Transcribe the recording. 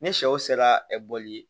Ni sɛw sera ɛ ɛ bɔli ye